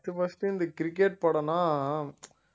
first first இந்த cricket படம்னா